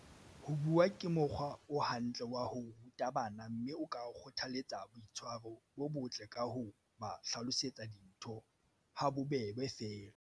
Ho bua ke mokgwa o hantle wa ho ruta bana mme o ka kgotha letsa boitshwaro bo botle ka ho ba hlalosetsa dintho ha bobebe feela.